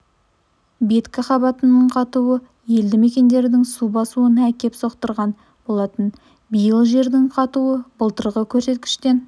беткі қабатының қатуы елді мекендердің су басуына әкеп соқтырған болатын биыл жердің қатуы былтырғы көрсеткіштен